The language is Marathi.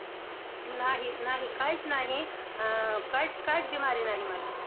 नाही नाही, काहीच नाही! अं काही काहीच बिमारी नाही मला.